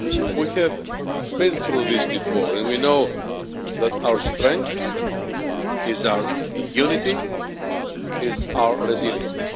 We have been through this before, and we know that our strength is our unity and our resilience.